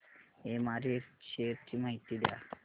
MRF shares ची माहिती द्या